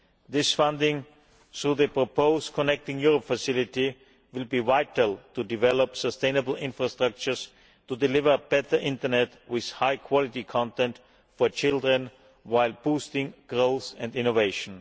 This funding through the proposed Connecting Europe Facility will be vital to developing sustainable infrastructures to deliver better internet with high quality content for children, while boosting growth and innovation.